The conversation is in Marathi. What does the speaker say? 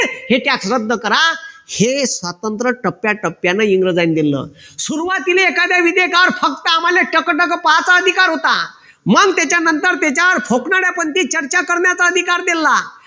हे tax रद्द करा. हे स्वतंत्र टप्याटप्याने इंग्रजांनी दिलेल. सुरवातीले एखादे फक्त आम्हाला टकटक पाहायचा अधिकार होता. मग त्याच्यानंतर त्याच्यावर चर्चा करण्याचा अधिकार दिलला.